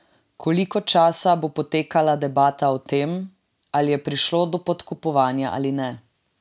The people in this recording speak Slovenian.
Koliko časa bo potekala debata o tem, ali je prišlo do podkupovanja ali ne?